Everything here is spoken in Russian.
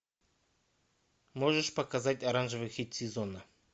можешь показать оранжевый хит сезона